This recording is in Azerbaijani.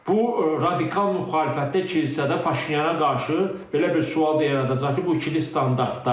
bu radikal müxalifətdə, kilsədə Paşinyana qarşı belə bir sual da yaradacaq ki, bu ikili standartlardır.